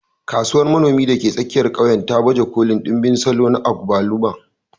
Kasuwar manomi da ke tsakiyar ƙauyen ta baje kolin ɗimbin salo na agbalumo.